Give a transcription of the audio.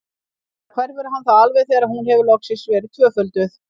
Sennilega hverfur hann þá alveg þegar hún hefur loksins verið tvöfölduð.